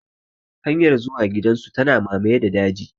Hanyar zuwa gidan su ya mamaye da daji.